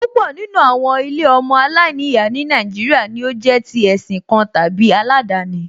Púpọ̀ nínú àwọn ilé ọmọ aláìníyàá ní Nàìjíríà ni ó jẹ́ tí ẹ̀sìn kan tàbí aládani